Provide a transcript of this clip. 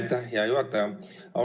Aitäh, hea juhataja!